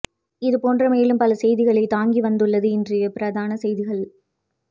இதுபோன்ற மேலும் பல செய்திகளை தாங்கி வந்துள்ளது இன்றைய பிரதான செய்திகள்